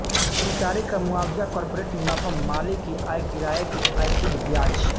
कर्मचारी का मुआवजा कॉर्पोरेट मुनाफा मालिक की आय किराये की आय शुद्ध ब्याज